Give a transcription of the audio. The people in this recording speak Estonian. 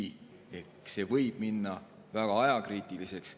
võib minna väga ajakriitiliseks.